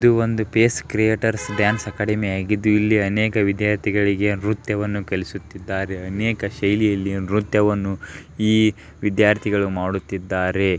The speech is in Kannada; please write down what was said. ಇದು ಒಂದು ಫೇಸ್ ಕ್ರಿಯೇಟರ್ಸ್ ಡಾನ್ಸ್ ಅಕಾಡೆಮಿ ಆಗಿದ್ದು ಇಲ್ಲಿ ಅನೇಕ ವಿದ್ಯಾರ್ಥಿಗಳಿಗೆ ನೃತ್ಯವನ್ನು ಕಲಿಸ್ತಾ ಇದ್ದಾರೆ ಅನೇಕ ಶೈಲಿಯಲ್ಲಿ ನೃತ್ಯವನ್ನು ಈ ವಿದ್ಯಾರ್ಥಿಗಳು ಮಾಡುತ್ತಿದ್ದಾರೆ ಈ ವಿದ್ಯಾರ್ಥಿಗಳು ನೀಲಿ ಆಕಾರದ ಟಿ ಶರ್ಟನ್ನು ಹಾಕಿಕೊಂಡಿದ್ದಾರೆ.